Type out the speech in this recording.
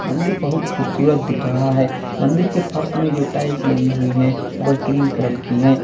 मंदिर बहुत खूबसूरत दिख रहा है मंदिर के फर्श में जो टाइल्स लगी हुई है वह क्रीम कलर की है।